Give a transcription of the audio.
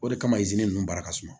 O de kama izini ninnu baara ka suma